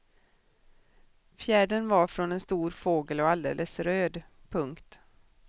Fjädern var från en stor fågel och alldeles röd. punkt